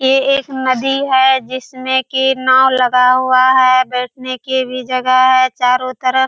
ये एक नदी है जिसमे कि नाव लगा हुआ है बैठने की भी जगह है चारों तरफ --